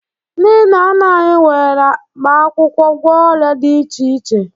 Ndị nna nna anyị were mkpaakwụkwọ gwọọ ọrịa dị iche iche